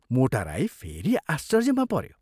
मोटा राई फेरि आश्चर्यमा पऱ्यो।